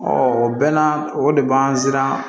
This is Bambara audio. o bɛɛ na o de b'an siran